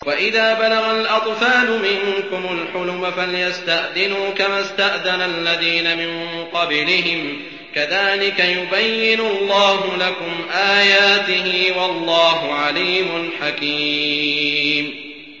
وَإِذَا بَلَغَ الْأَطْفَالُ مِنكُمُ الْحُلُمَ فَلْيَسْتَأْذِنُوا كَمَا اسْتَأْذَنَ الَّذِينَ مِن قَبْلِهِمْ ۚ كَذَٰلِكَ يُبَيِّنُ اللَّهُ لَكُمْ آيَاتِهِ ۗ وَاللَّهُ عَلِيمٌ حَكِيمٌ